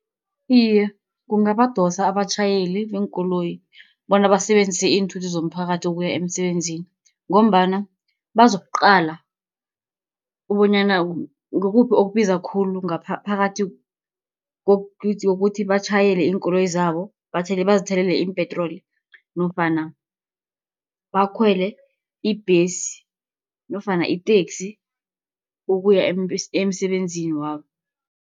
Iye, kungabadosa abatjhayeli beenkoloyi, bona basebenzise iinthuthi zomphakathi ukuya emsebenzini, ngombana bazokuqala bonyana kukuphi okubiza khulu phakathi kokuthi batjhayele iinkoloyi zabo, bazithelele iimpetroli nofana bakhwele ibhesi nofana iteksi ukuya emsebenzini wabo.